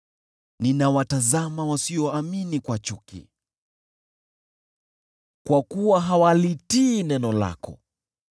Ninawatazama wasioamini kwa chuki, kwa kuwa hawalitii neno lako.